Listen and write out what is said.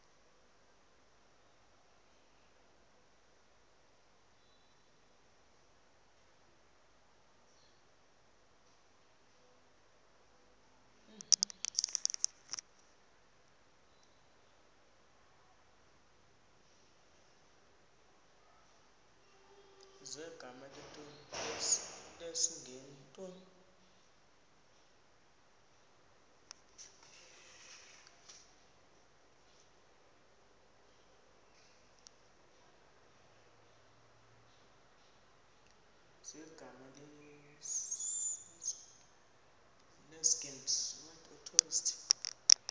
zegama lesngesn authorit